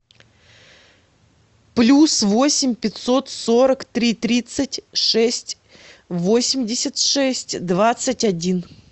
плюс восемь пятьсот сорок три тридцать шесть восемьдесят шесть двадцать один